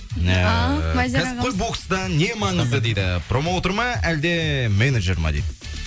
ыыы ал мадияр ағамыз кәсіпқой бокста не маңызды дейді промоутер ма әлде менеджер ме дейді